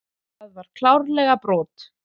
Það var klárlega brot.